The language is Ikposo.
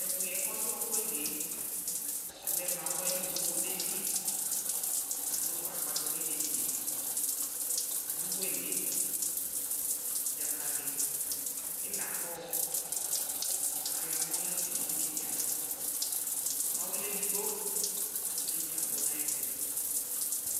Ɛkʋyɛ kʋ ɔdʋ ɔɔkʋ yɛ lι yɛ ɔlɛ mawɛ nʋ onoko detsi Adʋ akpatsɔ nʋ idetsi yɛ, adʋ wele dzakalι ιlakɔɔ akʋ ayɔ amɔ la tsue nʋ idetsi yɛ alɔ Mawɛ lɛ edigbo kʋ idetsi abʋ nʋ ayʋ ɛtʋ